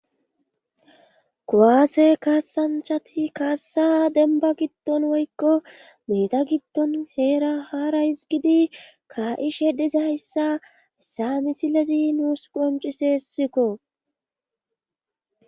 Kuwaase kaassanchati kaassa dembba giddon woykko meeda giddon heera haarays gidi ka7ishe dizayssa hissa misilezi nuus qonciseessikko.